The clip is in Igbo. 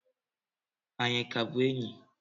Anyị a ka bụ enyi?